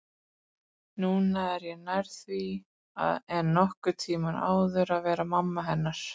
Núna er ég nær því en nokkurn tímann áður að vera mamma hennar